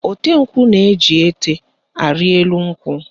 Ote nkwụ na-eji ete arị elu nkwụ